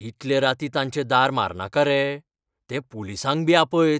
इतले रातीं तांचे दार मारनाका रे. ते पुलिसांक बी आपयत.